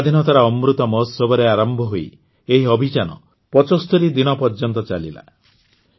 ସ୍ୱାଧୀନତାର ଅମୃତ ମହୋତ୍ସବରେ ଆରମ୍ଭ ହୋଇ ଏହି ଅଭିଯାନ ୭୫ ଦିନ ପର୍ଯ୍ୟନ୍ତ ଚାଲିଲା